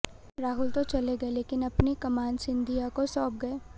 राहुल तो चले गये लेकिन अपनी कमान सिधिंया को सौप गये